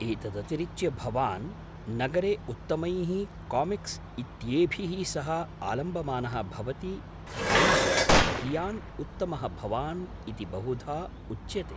एतदतिरिच्य, भवान् नगरे उत्तमैः कामिक्स् इत्येभिः सह आलम्बमानः भवति यैः कियान् उत्तमः भवान् इति बहुधा उच्यते।